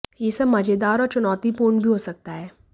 यह सब मजेदार और चुनौतीपूर्ण भी हो सकता है